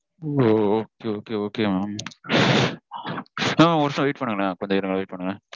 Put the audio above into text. ஓ Okay okay okay mam mam ஒரு நிமிஷம் wait பண்ணுங்களேன். கொஞ்சம் இருங்க wait பண்ணுங்க